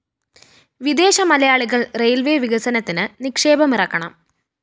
വിദേശ മലയാളികള്‍ റെയിൽവേസ്‌ വികസനത്തില്‍ നിക്ഷേപമിറക്കണം